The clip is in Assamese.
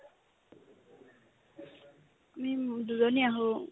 আমি দুজনীয়ে আহো